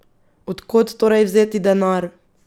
Od kod torej vzeti denar?